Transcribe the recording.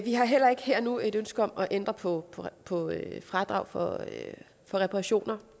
har heller ikke her og nu et ønske om at ændre på fradrag for reparationer